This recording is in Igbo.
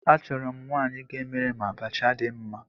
Achọrọ m nwaanyị ga-emere m abacha dị mma